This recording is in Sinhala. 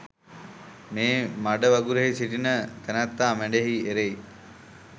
මේ මඩ වගුරෙහි සිටින තැනැත්තා මඩෙහි එරෙයි.